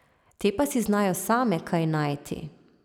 Te pa si znajo same kaj najti.